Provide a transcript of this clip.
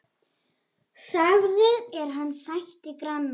Sagður er hann sættir granna.